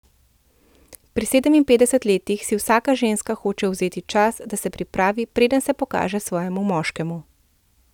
Pri sedeminpetdesetih letih si vsaka ženska hoče vzeti čas, da se pripravi, preden se pokaže svojemu moškemu.